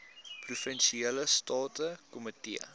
provinsiale staande komitee